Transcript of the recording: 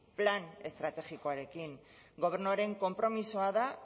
plan estrategikoarekin gobernuaren konpromisoa da